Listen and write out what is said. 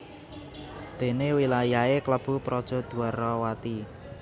Dene wilayahe klebu Praja Dwarawati